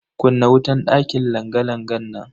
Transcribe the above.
Kunna wutan dakin langa-langan nan.